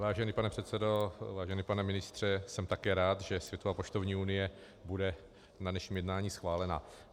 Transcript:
Vážený pane předsedo, vážený pane ministře, jsem také rád, že Světová poštovní unie bude na dnešním jednání schválena.